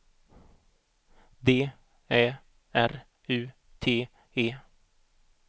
D Ä R U T E